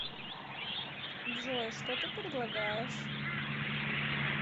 джой что ты предлагаешь